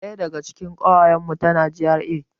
Ɗaya daga cikin ƙawayan mu tana GRA